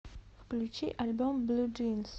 включи альбом блу джинс